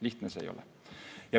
Lihtne see ei ole.